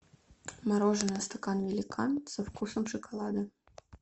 мороженое стакан великан со вкусом шоколада